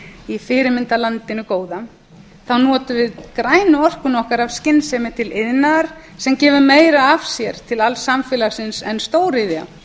í fyrirmyndarlandinu góða þá notum við grænu orkuna okkar af skynsemi til iðnaðar sem gefur meira af sér til alls samfélagsins en stóriðja